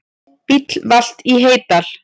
Bíll valt í Heydal